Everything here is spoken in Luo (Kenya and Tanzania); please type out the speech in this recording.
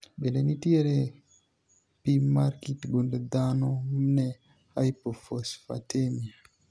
bende nitiere pim mar kit gund dhano ne hypophosphatemia?